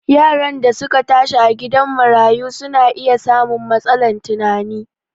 Yaran da su ka tashi a gidan marayu su na iya samun matsalan tunani